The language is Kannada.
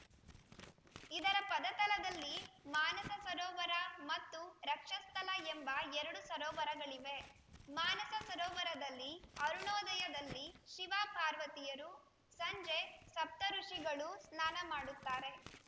ಇದರ ಪದತಲದಲ್ಲಿ ಮಾನಸ ಸರೋವರ ಮತ್ತು ರಕ್ಷಸ್ಥಲ ಎಂಬ ಎರಡು ಸರೋವರಗಳಿವೆ ಮಾನಸ ಸರೋವರದಲ್ಲಿ ಅರುಣೋದಯದಲ್ಲಿ ಶಿವಪಾರ್ವತಿಯರು ಸಂಜೆ ಸಪ್ತಋುಷಿಗಳು ಸ್ನಾನ ಮಾಡುತ್ತಾರೆ